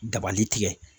Dabali tigɛ